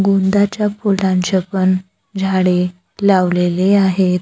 गोंदाच्या फुलांचे पण झाडे लावलेले आहेत.